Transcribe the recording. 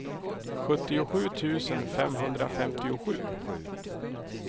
sjuttiosju tusen femhundrafemtiosju